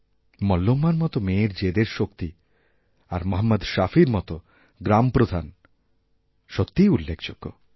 মল্লম্মার মতো মেয়ের জেদের শক্তিআর মহম্মদ শাফির মতো গ্রামপ্রধান সত্যিই উল্লেখযোগ্য